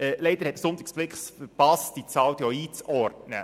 Leider hat es der «Sonntagsblick» verpasst, die Zahl auch einzuordnen.